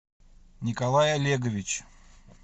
николай олегович